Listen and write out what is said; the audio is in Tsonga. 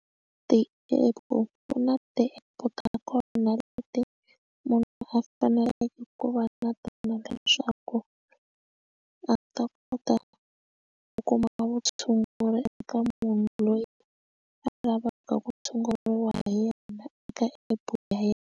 Ti app u na ti-app ta kona leti munhu a faneleke ku va na tona leswaku a ta kota ku kuma vutshunguri eka munhu loyi a lavaka ku tshunguriwa hi yena eka app ya yena.